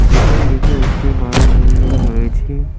পেছন দিকে একটি বড় বিল্ডিং রয়েছে।